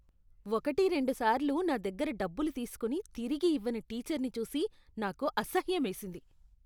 ఒకటిరెండు సార్లు నా దగ్గర డబ్బులు తీసుకుని తిరిగి ఇవ్వని టీచర్ని చూసి నాకు అసహ్యమేసింది.